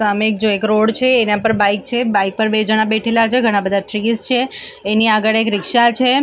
સામે એક જેક રોડ છે એના પર એક બાઈક છે બાઈક પર બે જણા બેઠેલા છે. ઘણા બધા ટ્રિઝ છે એની આગળ એક રીક્ષા છે આ--